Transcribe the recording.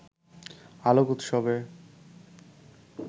আলোক উৎসবে